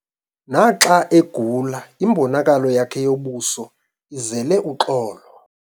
Naxa egula imbonakalo yakhe yobuso izele uxolo.